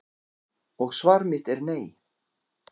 Og svar mitt er nei.